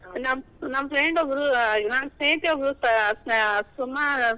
ನಮ್~ ನಮ್ friend ಒಬ್ಳು, ಹ್ಮ್ ನನ್ನ ಸ್ನೇಹಿತೆ ಒಬ್ಳು ಆ ಸುಮಾ.